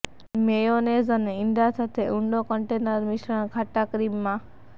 mayonnaise અને ઇંડા સાથે ઊંડો કન્ટેનર મિશ્રણ ખાટા ક્રીમમાં